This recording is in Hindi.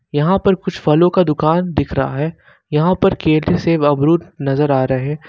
यहां पर कुछ फलों का दुकान दिख रहा है यहां पर केले सेब अमरुद नजर आ रहे--